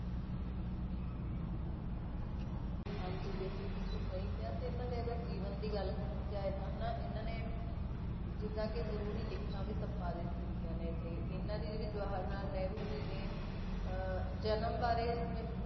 ਹਾਂਜੀ ਬਿਲਕੁਲ ਤੁਸੀਂ ਸਹੀ ਕਿਹਾ ਤੇ ਇਹਨਾਂ ਦੇ ਅਗਰ ਜੀਵਨ ਦੀ ਗੱਲ ਕੀਤੀ ਜਾਏ ਤਾਂ ਹਨਾ ਇਹਨਾਂ ਨੇ ਜਿੱਦਾਂ ਕਿ ਜ਼ਰੂਰੀ ਲਿਖਤਾਂ ਵੀ ਸੰਪਾਦਿਤ ਕੀਤੀਆਂ ਨੇ ਤੇ ਇਹਨਾਂ ਦੀ ਜਿਹੜੀ ਜਵਾਹਰ ਲਾਲ ਨਹਿਰੂ ਜੀ ਦੀ ਅਹ ਜਨਮ ਬਾਰੇ ਜਿਵੇਂ